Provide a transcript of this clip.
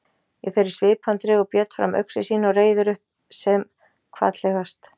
Í þeirri svipan dregur Björn fram öxi sína og reiðir upp sem hvatlegast.